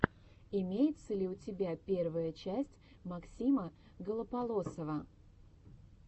имеется ли у тебя первая часть максима голополосова